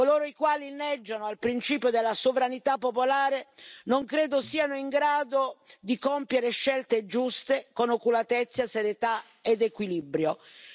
Coloro i quali inneggiano al principio della sovranità popolare non credo siano in grado di compiere scelte giuste con oculatezza, serietà ed equilibrio.